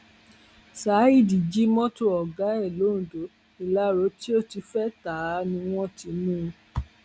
saheed jí mọtò ọgá ẹ londo ilárò tó ti fẹẹ ta á ni wọn ti mú un